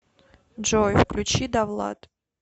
джой включи давлад